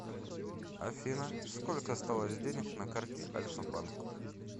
афина сколько осталось денег на карте альфа банк